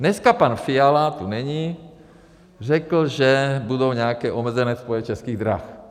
Dneska pan Fiala tu není, řekl, že budou nějaké omezené spoje Českých drah.